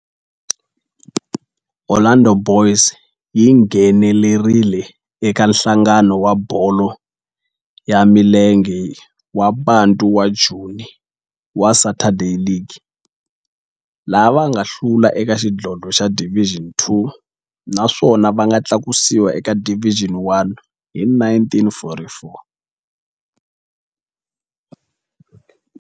Orlando Boys yi nghenelerile eka Nhlangano wa Bolo ya Milenge wa Bantu wa Joni wa Saturday League, laha va nga hlula eka xidlodlo xa Division Two naswona va nga tlakusiwa eka Division One hi 1944.